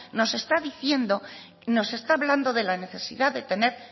nos está diciendo nos está hablando de la necesidad de tener